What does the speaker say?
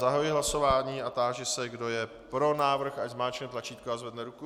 Zahajuji hlasování a táži se, kdo je pro návrh, ať zmáčkne tlačítko a zvedne ruku.